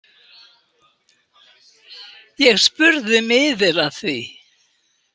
Ég spurði miðil að því.